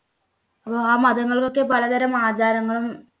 ആ മതങ്ങൾക്കൊക്കെ പലതരം ആചാരങ്ങളും